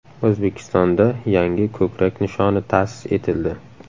O‘zbekistonda yangi ko‘krak nishoni ta’sis etildi.